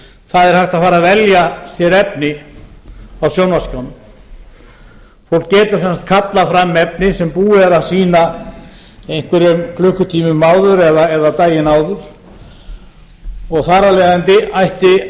það er hægt að fara að velja sér efni á sjónvarpsskjánum fólk getur sem sagt kallað fram efni sem búið er að sýna einhverjum klukkutímum áður eða daginn áður og þar af leiðandi ætti það